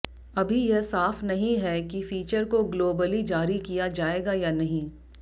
अभी यह साफ नहीं है कि फीचर को ग्लोबली जारी किया जाएगा या नहीं